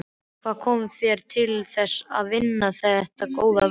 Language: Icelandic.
Hvað kom þér til þess að vinna þetta góða verk?